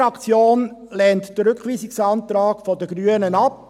Die BDP-Fraktion lehnt den Rückweisungsantrag der Grünen ab.